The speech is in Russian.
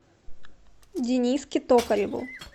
дениске токареву